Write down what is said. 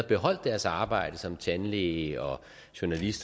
beholdt deres arbejde som tandlæge journalist